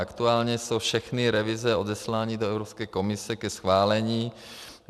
Aktuálně jsou všechny revize odeslány do Evropské komise ke schválení.